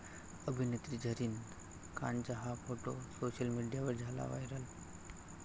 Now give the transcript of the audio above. अभिनेत्री झरीन खानचा 'हा' फोटो सोशल मीडियावर झाला व्हायरल